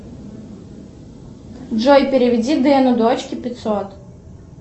джой переведи дэну дочке пятьсот